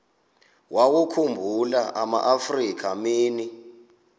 wawakhumbul amaafrika mini